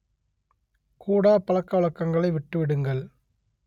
கூடாப்பழக்க வழக்கங்களை விட்டு விடுங்கள்